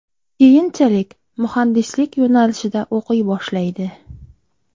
Keyinchalik muhandislik yo‘nalishida o‘qiy boshlaydi.